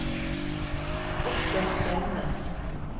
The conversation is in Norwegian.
Oscar Selnes